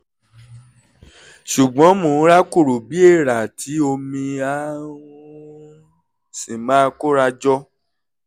ṣùgbọ́n mò ń rákòrò bí èèrà tí omi á um sì máa kóra jọ